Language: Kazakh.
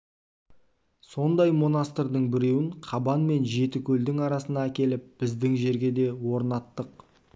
сондай монастырьдың біреуін қабан мен жетікөлдің арасына әкеліп біздің жерге де орнаттық